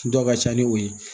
Dɔ ka ca ni o ye